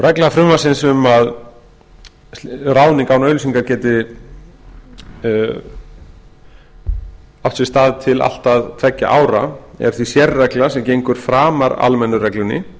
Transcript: regla frumvarpsins um að ráðning án auglýsingar geti átt sér stað til allt að tveggja ára er því sérregla sem gengur framar almennu reglunni